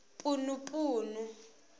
punupunu